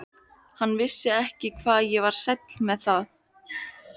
Hann vissi ekki hvað ég var sæll með það.